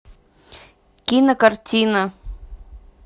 кинокартина